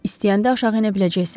İstəyəndə aşağı enə biləcəksən?